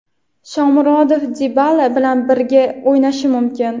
Shomurodov Dibala bilan birga o‘ynashi mumkin.